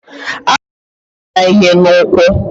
A ga m apịa ya ihe n'ụkwụ.